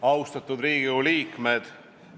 Austatud Riigikogu liikmed!